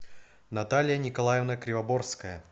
наталья николаевна кривоборская